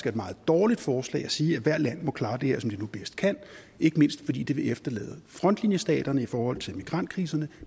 et meget dårligt forslag at sige at hvert land må klare det her som de nu bedst kan ikke mindst fordi det vil efterlade frontlinjestaterne i forhold til migrantkriserne